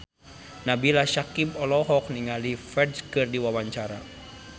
Nabila Syakieb olohok ningali Ferdge keur diwawancara